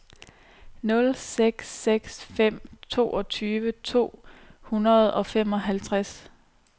nul seks seks fem toogtyve to hundrede og femoghalvtreds